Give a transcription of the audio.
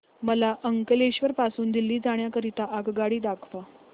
मला अंकलेश्वर पासून दिल्ली जाण्या करीता आगगाडी दाखवा